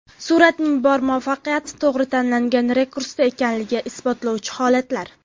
Suratning bor muvaffaqiyati to‘g‘ri tanlangan rakursda ekanligini isbotlovchi holatlar .